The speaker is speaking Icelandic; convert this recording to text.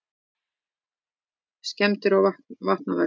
Skemmdir og vatnavextir